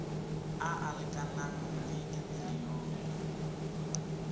a a lekanang le dimilione